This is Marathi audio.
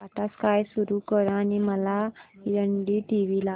टाटा स्काय सुरू कर आणि मला एनडीटीव्ही दाखव